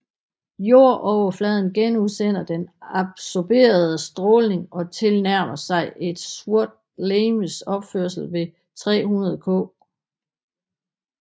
Jordoverfladen genudsender den absorberede stråling og tilnærmer sig et sort legemes opførsel ved 300 K